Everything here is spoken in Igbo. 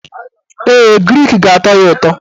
Ee, grik ga-atọ ya ụtọ.